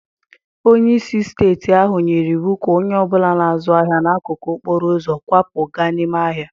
Onye isi steeti ahụ nyere iwu ka onye ọ bụla na-azụ ahịa n'akụkụ okporo ụzọ kwapụ gaa n'ime ahịa.